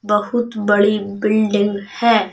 बहुत बड़ी बिल्डिंग है।